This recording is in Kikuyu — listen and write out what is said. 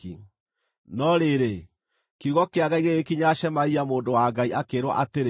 No rĩrĩ, kiugo kĩa Ngai gĩgĩkinyĩra Shemaia mũndũ wa Ngai akĩĩrwo atĩrĩ: